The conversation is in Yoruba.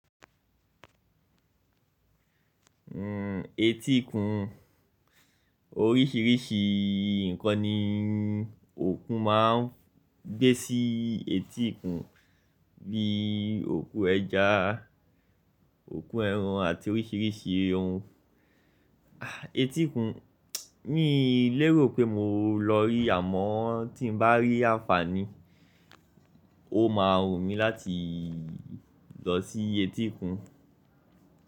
Hmm, etíkun oríṣìíríṣìí ǹkan ni okun máa ń gbé sí etíkun bíi òku ẹja, òku ẹran àti oríṣìíríṣìí ohun etíkun. Mi lérò pé mo lọ rí àmọ́ tí mo bá rí àǹfààní, ó máa wù mí láti lọ sí etíkun.